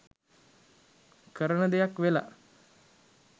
කරන දෙයක් වෙලා.